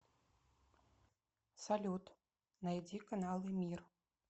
салют найди каналы мир